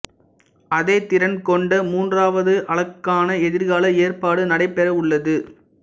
அதே திறன் கொண்ட மூன்றாவது அலகுக்கான எதிர்கால ஏற்பாடு நடைபெறவுள்ளது